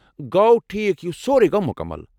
گوٚو ٹھیٖک، یہِ سوروٕے گوٚو مُکمل۔